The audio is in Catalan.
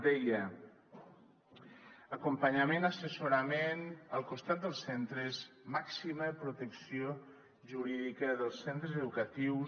deia acompanyament assessorament al costat dels centres màxima protecció jurídica dels centres educatius